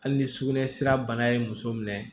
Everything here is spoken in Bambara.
Hali ni sugunɛsira bana ye muso minɛ